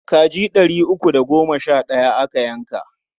Kaji ɗari uku da goma sha ɗaya aka yanka.